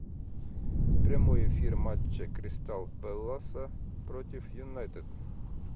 прямой эфир матча кристал пэласа против юнайтед